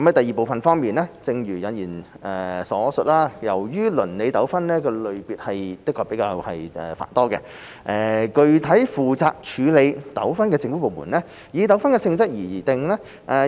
二正如引言所述，由於鄰里糾紛類別繁多，具體負責處理糾紛的政府部門以糾紛的性質而定。